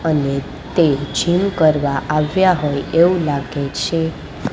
અને તે જીમ કરવા આવ્યા હોય એવુ લાગે છે.